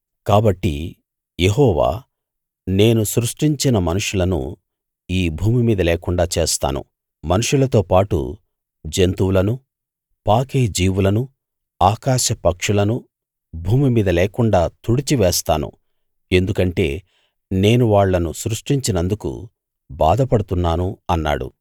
కాబట్టి యెహోవా నేను సృష్టించిన మనుషులను ఈ భూమిమీద లేకుండా చేస్తాను మనుషులతో పాటు జంతువులను పాకే జీవులను ఆకాశపక్షులను భూమిమీద లేకుండా తుడిచి వేస్తాను ఎందుకంటే నేను వాళ్ళను సృష్టించినందుకు బాధపడుతున్నాను అన్నాడు